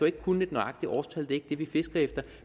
ikke kunne et nøjagtigt årstal det er ikke det vi fisker efter